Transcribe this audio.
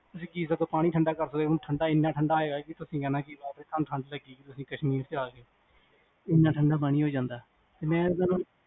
ਤੁਸੀਂ ਕੀ ਸਗੋ ਪਾਣੀ ਠੰਡਾ ਕਰ ਸਕਦੇ ਹੋ ਕਿ ਠੰਡਾ ਇਨਾ ਠੰਡ ਆਏਗਾ ਤੁਸੀਂ ਕਹਿਣਾ ਤੁਹਾਨੂੰ ਠੰਡ ਲਗੇਗੀ ਜਿਵੇ ਕਸ਼ਮੀਰ ਚ ਆ ਗਏ, ਮੈਂ ਤੁਹਾਨੂੰ